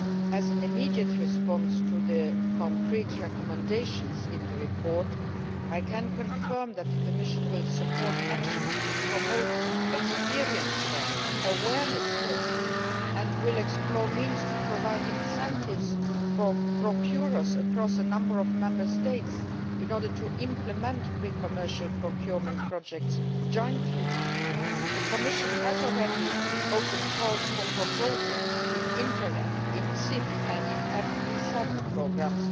As an immediate response to the concrete recommendations in the report, I can confirm that the Commission will support actions to promote the sharing of experience and awareness raising, and will explore the means to provide incentives for procurers across a number of Member States in order to implement pre commercial procurement projects jointly. The Commission has already opened calls for proposals in the INTERREG, CIP and FP7 programmes